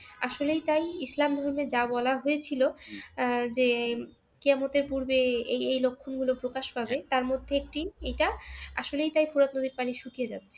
আসলেই তাই ইসলাম ধর্মে যা বলা হয়েছিল আহ যে কেয়ামতের পূর্বে এই এই লক্ষণগুলো প্রকাশ পাবে তার মধ্যে একটি এটা আসলেই তাই ফোরাত নদীর পানি শুকিয়ে যাবে